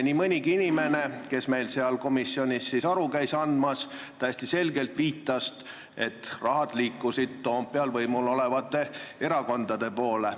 Nii mõnigi inimene, kes meil seal komisjonis aru käis andmas, viitas täiesti selgelt, et raha liikus Toompeal võimul olevate erakondade poole.